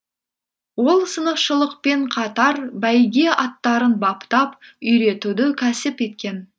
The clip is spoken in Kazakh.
ол сынықшылықпен қатар бәйге аттарын баптап үйретуді кәсіп еткен